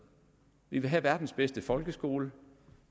vi vil have verdens bedste folkeskole